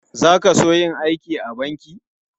Za ka so yin aiki a banki?